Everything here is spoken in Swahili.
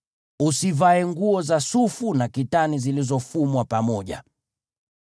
Usivae nguo za sufu na kitani zilizofumwa pamoja.